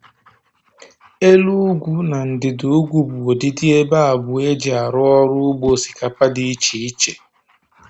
Elu ugwu na ndịda ugwu bụ ụdịdi ebe abụọ e ji arụ ọrụ ugbo osikapa dị iche iche